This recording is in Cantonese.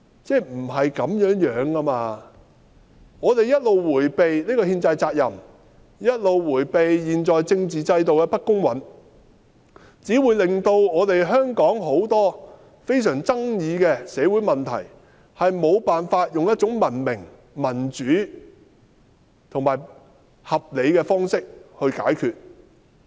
不是這樣的，政府一直迴避這個憲制責任，一直迴避現在政治制度的不公允，只會導致香港許多非常富爭議的社會問題，無法以一種文明、民主、合理的方式解決。